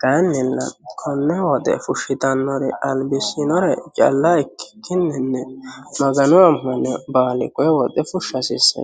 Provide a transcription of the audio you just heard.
kayinnilla kone woxe fushittanore albisinore calla ikkikkinni Magano amanino baalli kone woxe fushsha dandaano.